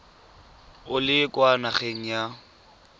o le kwa nageng ya